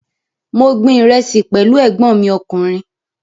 Mo gbin ìrẹsì pẹ̀lú ẹ̀gbọ́n mi ọkùnrin